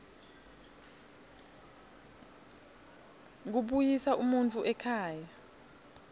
kubuyisa umuntfu ekhaya